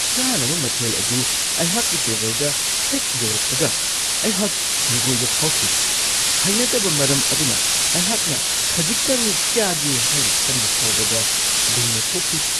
ꯆꯥꯅꯕ ꯃꯊꯦꯜ ꯑꯗꯨ ꯑꯩꯍꯥꯛꯀꯤ ꯇꯦꯕꯜꯗ ꯍꯦꯛ ꯌꯧꯔꯛꯄꯒ, ꯑꯩꯍꯥꯛ ꯍꯪꯒꯣꯏꯕ ꯐꯥꯎꯈꯤ ꯫ ꯍꯩꯅꯗꯕ ꯃꯔꯝ ꯑꯗꯨꯅ ꯑꯩꯍꯥꯛꯅ ꯈꯖꯤꯛꯇꯪ ꯆꯥꯒꯦ ꯍꯥꯏꯅ ꯈꯟꯕ ꯐꯥꯎꯕꯗ ꯂꯨꯅ ꯊꯣꯛꯈꯤ꯫